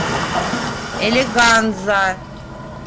элеганза